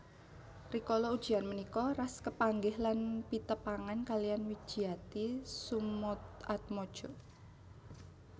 Rikala ujian punika Ras kepanggih lan pitepangan kaliyan Widjiati Soemoatmodjo